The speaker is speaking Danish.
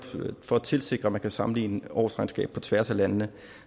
for at tilsikre at man kan sammenligne årsregnskaber på tværs af landene